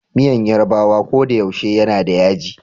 Miyan Yarbawa kodayaushe yanada yaji.